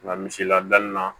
Nka misi la danni na